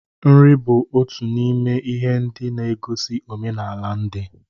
Nri bụ otu n'ime ihe ndị na-egosi omenala ndị.